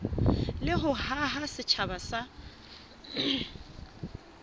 le ho haha setjhaba sa